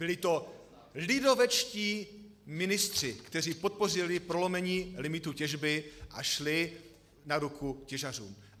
Byli to lidovečtí ministři, kteří podpořili prolomení limitů těžby a šli na ruku těžařům.